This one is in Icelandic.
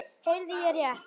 Heyrði ég rétt.